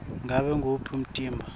ngabe nguwuphi umtimba